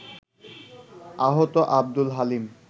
আহত আব্দুল হালিম